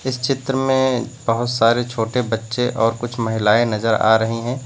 इस चित्र में बहुत सारे छोटे बच्चे और कुछ महिलाएं नजर आ रही हैं।